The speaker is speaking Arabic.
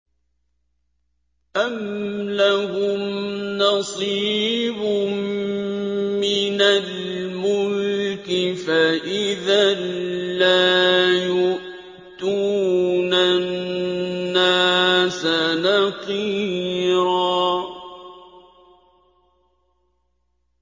أَمْ لَهُمْ نَصِيبٌ مِّنَ الْمُلْكِ فَإِذًا لَّا يُؤْتُونَ النَّاسَ نَقِيرًا